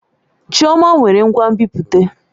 Chioma nwere ngwa nbipute.